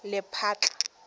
lephatla